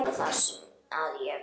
Bara það að ég. við.